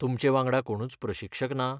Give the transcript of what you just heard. तुमचे वांगडा कोणूच प्रशिक्षक ना?